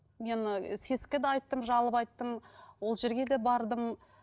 мен і сэс ке де айттым жалоба айттым ол жерге де бардым